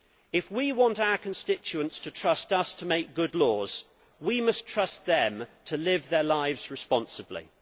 If we want our constituents to trust us to make good laws, we must trust them to live their lives responsibly.